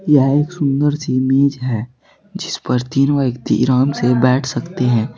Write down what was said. यहां एक सुंदर सी मेज है जिस पर तीन व्यक्ति आराम से बैठ सकते हैं।